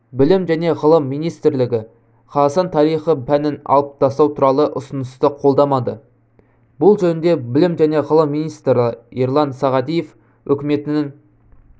білім және ғылым министрлігі қазақстан тарихы пәнін алып тастау туралы ұсынысты қолдамады бұл жөнінде білім және ғылым министрі ерлан сағадиев үкіметінің